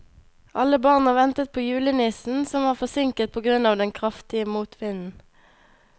Alle barna ventet på julenissen, som var forsinket på grunn av den kraftige motvinden.